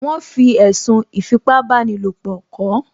Wọ́n fi ẹ̀sùn ìfipábanílòpọ̀ kàán